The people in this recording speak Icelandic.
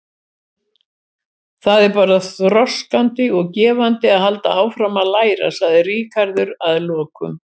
Það er bara þroskandi og gefandi að halda áfram að læra, sagði Ríkharður að lokum.